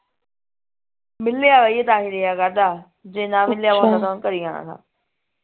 ਮਿਲਿਆ ਹੋਇਆ ਈ ਏ ਤਾਂਹੀ ਰਿਹਾ ਕਰਦਾ ਜੇ ਨਾ ਮਿਲਿਆ ਘਰੇ ਹੀ ਆਣਾ ਥਾ